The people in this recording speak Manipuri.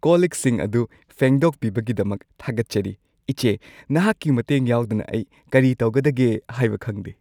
ꯀꯣꯜ-ꯂꯤꯛꯁꯤꯡ ꯑꯗꯨ ꯐꯦꯡꯗꯣꯛꯄꯤꯕꯒꯤꯗꯃꯛ ꯊꯥꯒꯠꯆꯔꯤ, ꯏꯆꯦ꯫ ꯅꯍꯥꯛꯀꯤ ꯃꯇꯦꯡ ꯌꯥꯎꯗꯅ ꯑꯩ ꯀꯔꯤ ꯇꯧꯒꯗꯒꯦ ꯍꯥꯏꯕ ꯈꯪꯗꯦ꯫